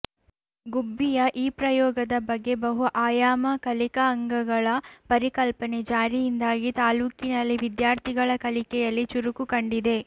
ಗುಬ್ಬಿಯ ಈ ಪ್ರಯೋಗದ ಬಗ್ಗೆ ಬಹು ಆಯಾಮ ಕಲಿಕಾ ಅಂಗಳಗಳ ಪರಿಕಲ್ಪನೆ ಜಾರಿಯಿಂದಾಗಿ ತಾಲ್ಲೂಕಿನಲ್ಲಿ ವಿದ್ಯಾರ್ಥಿಗಳ ಕಲಿಕೆಯಲ್ಲಿ ಚುರುಕು ಕಂಡಿದೆ